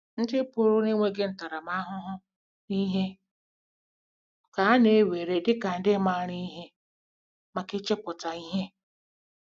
Ndị pụrụ n'enweghi ntaramahụhụ n'ihe ka a na ewere dị ka ndị maara ihe maka ‘ichepụta ihe. ’”